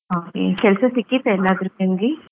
ಹಾಗೆ ಕೆಲ್ಸ ಸಿಕ್ಕಿತಾ ಎಲ್ಲಾದ್ರು ನಿಮ್ಗೆ?